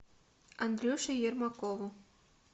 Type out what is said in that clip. андрюше ермакову